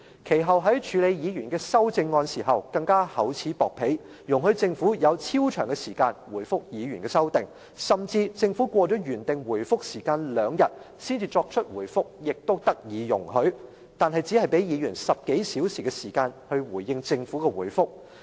其後，在處理議員的修正案時，更厚此薄彼，容許政府有超長時間回覆議員的修訂，甚至政府過了原定回覆時間兩天才作出回覆，也得以容許，但卻只給議員10多小時來回應政府的回覆。